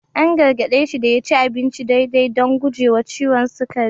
An gargade shi da ya ci abinci daidai don gujewa ciwon sukari